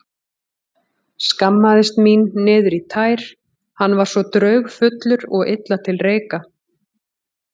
Skammaðist mín niður í tær, hann var svo draugfullur og illa til reika.